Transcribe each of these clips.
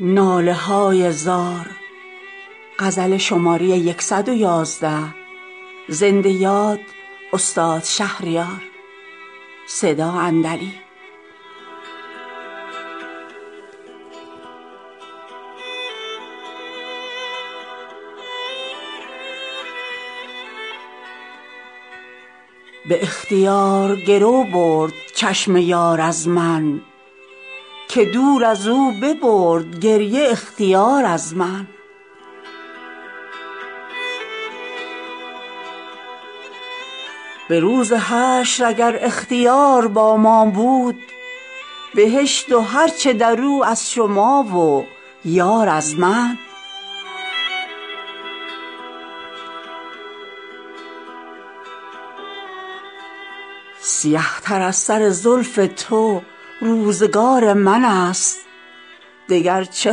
به اختیار دلی برد چشم یار از من که دور از او ببرد گریه اختیار از من به روز حشر اگر اختیار با ما بود بهشت و هر چه در او از شما و یار از من دگر قرار تو با ما چنین نبود ای دل که خنجری شوی و بگسلی قرار از من سیه تر از سر زلف تو روزگار من است دگر چه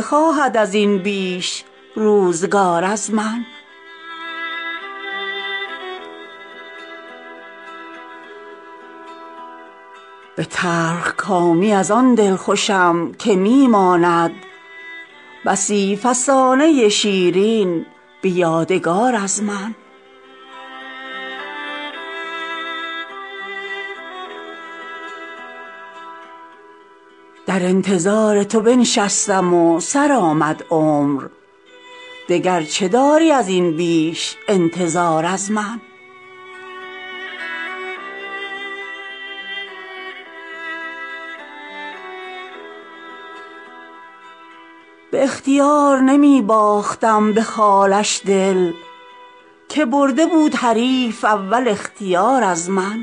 خواهد از این بیش روزگار از من به تلخکامی از آن دلخوشم که می ماند بسی فسانه شیرین به یادگار از من ترانه ها فکند جاودانه در آفاق چو بر فلک شود این ناله های زار از من دمد ز تربت من لاله ها چو یاد آرند پیاله نوش حریفان به نوبهار از من در انتظار تو بنشستم و سرآمد عمر دگر چه داری از این بیش انتظار از من شبی که از در مهتابی آمدی یاد آر چه مایه گوهر اشکی که شد نثار از من گواه عهد تو آن شب ستارگان بودند هنوز شاهدکانند شرمسار از من به اختیار نمی باختم به خالش دل که برده بود حریف اول اختیار از من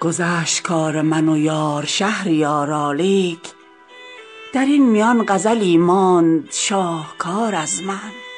گذشت کار من و یار شهریارا لیک در این میان غزلی ماند شاهکار از من